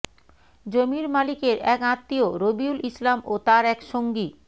জমির মালিকের এক আত্মীয় রবিউল ইসলাম ও তার এক সঙ্গী